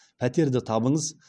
пәтерді табыңыз